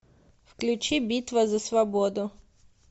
включи битва за свободу